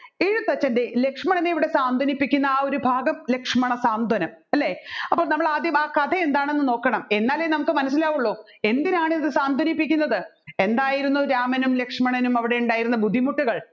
എഴുത്തച്ഛൻറെ ലക്ഷ്മണനെ ഇവിടെ സാന്ത്വനിപ്പിക്കുന്ന ആ ഒരു ഭാഗം ലക്ഷ്മണ സാന്ത്വനം അല്ലെ അപ്പോൾ നമ്മൾ ആദ്യം ആ കഥ എന്താണെന്ന് നോക്കണം എന്നാലേ നമ്മുക്ക് മനസ്സിലാവുള്ളു എന്തിനാണ് ഇത് സാന്ത്വനിപ്പിക്കുന്നത് എന്തായിരുന്നു രാമനും ലക്ഷ്മണനും അവിടെ ഉണ്ടായിരുന്ന ബുദ്ധിമുട്ടുകൾ